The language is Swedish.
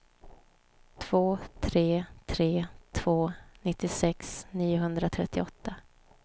två tre tre två nittiosex niohundratrettioåtta